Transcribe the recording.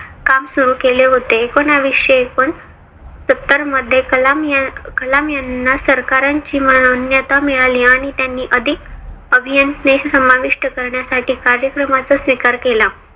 काम सुरु केले होते. एकोनाविशे एकोण सत्तर मध्ये कलाम यांना सरकारांची मान्यता मिळाली आणि त्यांनी अधिक अभियांत्रनेशी समाविष्ट करण्यासाठी कार्यक्रमाचा स्वीकार केला.